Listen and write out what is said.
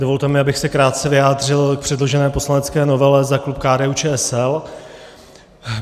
Dovolte mi, abych se krátce vyjádřil k předložené poslanecké novele za klub KDU-ČSL.